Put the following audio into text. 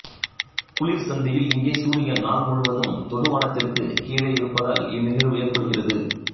குளிர் சந்தியில் இங்கே சூரியன் நாள் முழுவதும் தொடுவானத்திற்குக் கீழே இருப்பதால் இந்நிகழ்வு ஏற்படுகிறது